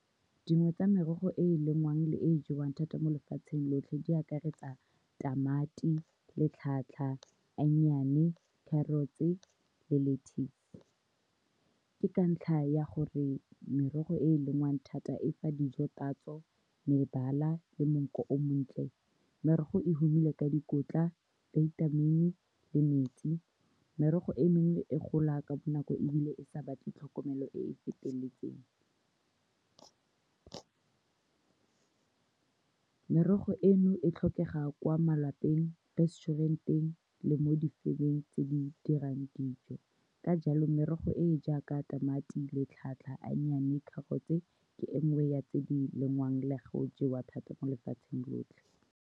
Dingwe tsa merogo e e lengwang le e e jewang thata mo lefatsheng lotlhe di akaretsa tamati le onion-e, carrots-e le lettuce. Ke ka ntlha ya gore merogo e e lengwang thata e fa dijo tatso, mebala le monkgo o montle. Merogo e humile ka dikotla, vitamin-i le metsi. Merogo e mennye e gola ka bonako, ebile e sa batle tlhokomelo e e feteletseng. Merogo eno e tlhokega kwa malapeng, resturant-eng le mo di-firm-eng tse di dirang dijo. Ka jalo, merogo e e jaaka tamati le eiye, carrots ke engwe ya tse di lengwang le go jewa thata mo lefatsheng lotlhe.